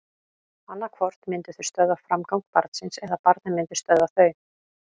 Annað hvort myndu þau stöðva framgang barnsins eða barnið myndi stöðva þau.